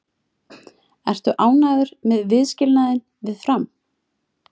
Ertu ánægður með viðskilnaðinn við Fram?